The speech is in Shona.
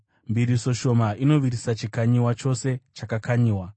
Mbiriso shoma inovirisa chikanyiwa chose chakakanyiwa.